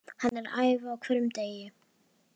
Hann er að æfa á hverjum degi.